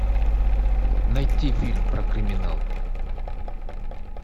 найти фильм про криминал